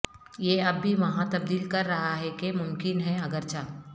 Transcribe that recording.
یہ اب بھی وہاں تبدیل کر رہا ہے کہ ممکن ہے اگرچہ